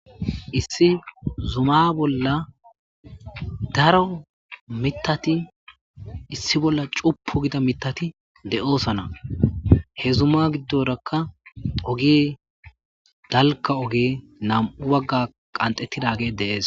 Issi zuma bola daro mithati issi bola c'upu gida mithati de'osona he zuma gidoraka oge dalga oge nam'u baga qandhetidage de'es.